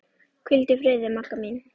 Hvíldu í friði, Magga mín.